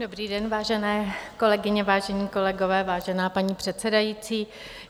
Dobrý den, vážené kolegyně, vážení kolegové, vážená paní předsedající.